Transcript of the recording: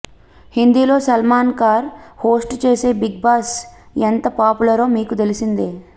హిందీలో సల్మాన్ ఖాన్ హోస్ట్ చేసే Bigg Boss ఎంత పాపులరో మీకు తెలిసిందే